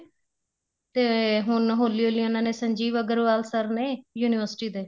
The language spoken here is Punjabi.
ਤੇ ਹੁਣ ਹੋਲੀ ਹੋਲੀ ਉਹਨਾ ਨੇ ਸੰਜੀਵ ਅੱਗਰਵਾਲ sir ਨੇ university ਦੇ